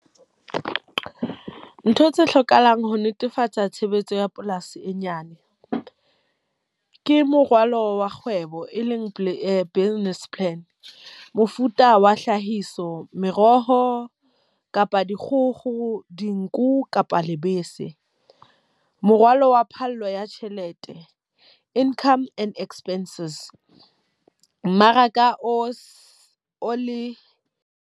Ntho tse hlokahalang ho netefatsa tshebetso ya polasi e nyane. Ke morwalo wa kgwebo, e leng business plan. Mofuta wa hlahiso, meroho, kapa dikgogo, dinku kapa lebese. Morwalo wa phallo ya tjhelete, income and expenses. Mmaraka o se o le.